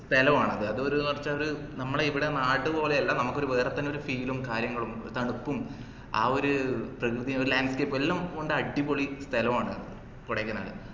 സ്ഥലവാണത് അത് ഒരു കുറച്ച് ഒരു നമ്മളെ ഇവിടെ നാട് പോലെ അല്ല നമ്മക് ഒരു വേറെത്തന്നെ ഒരു feel ഉം കാര്യങ്ങളും തണുപ്പും ആ ഒര് പ്രകൃതി ഒരു landscape ഉം എല്ലാം കൊണ്ട് അടിപൊളി സ്ഥലവാണ് കൊടൈക്കനാല്